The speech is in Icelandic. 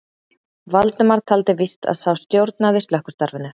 Valdimar taldi víst að sá stjórnaði slökkvistarfinu.